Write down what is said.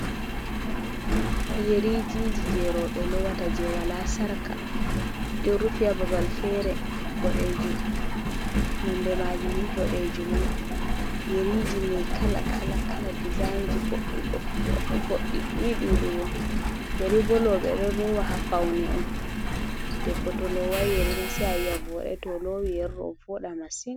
Yerijiji je robe lowata je wala sarka ɗe ɗo rufi ha babal fere boɗejum nonde majum ni boɗejimon, yeriji mai kala-kala kala dezainji boɗɗi boɗɗi boɗɗi boɗɗi ni ɗuɗugo yeri bo robe ɗon lowa ha paune on deɓbo to lowai yeri ma sai ayi'a ovoɗai tow olowi yeri ɗo ovoɗa masin.